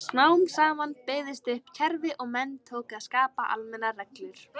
Smám saman byggðist upp kerfi og menn tóku að skapa almennar reglur.